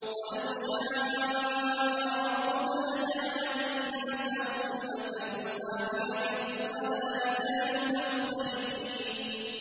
وَلَوْ شَاءَ رَبُّكَ لَجَعَلَ النَّاسَ أُمَّةً وَاحِدَةً ۖ وَلَا يَزَالُونَ مُخْتَلِفِينَ